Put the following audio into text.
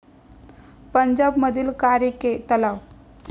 पंजाब मधील कारीके तलाव